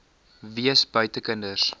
wees buite kinders